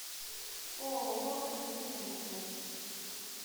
ооо клиника на карте